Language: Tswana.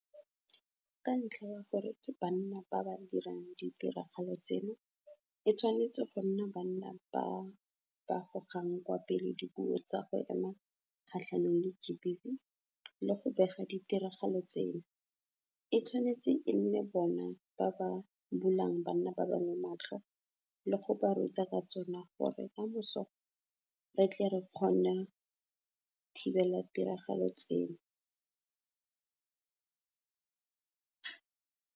Ka ntlha ya gore ke banna ba ba dirang ditiragalo tseno, e tshwane go nna banna ba ba gogang kwa pele dipuo tsa go ema kgatlhanong le GBV le go bega ditiragalo tseno, e tshwanetse e nne bona ba ba bulang banna ba bangwe matlho le go ba ruta ka tsona gore kamoso re tle re kgona thibela ditiragalo tseno.